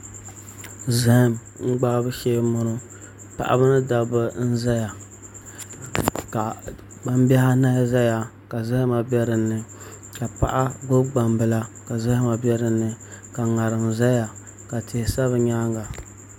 Zaham gbahabu shee n bɔŋɔ paɣaba ni dabba n ʒɛya ka gbambihi anahi ʒɛya ka zahama bɛ dinni ka paɣa gbubi gbambila ka zahama bɛ dinni ka ŋarim ʒɛya ka tihi sa di nyaanga